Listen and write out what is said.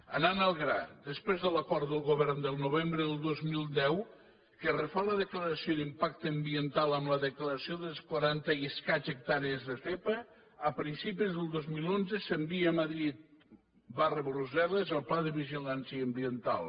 anant al gra després de l’acord de govern del novembre del dos mil deu que refà la declaració d’impacte ambiental amb la declaració de les quaranta i escaig hectàrees de zepa a principis del dos mil onze s’envia a madrid brussel·les el pla de vigilància ambiental